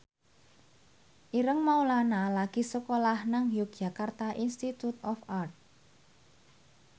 Ireng Maulana lagi sekolah nang Yogyakarta Institute of Art